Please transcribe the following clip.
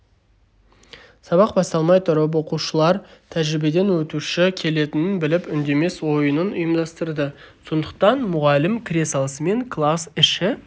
сабақ басталмай тұрып оқушылар тәжірибеден өтуші келетінін біліп үндемес ойынын ұйымдастырды сондықтан мұғалім кіре салысымен класс іші